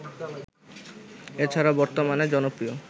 এছাড়া বর্তমান জনপ্রিয়